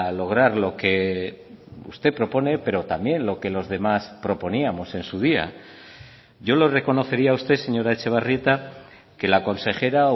lograr lo que usted propone pero también lo que los demás proponíamos en su día yo le reconocería a usted señora etxebarrieta que la consejera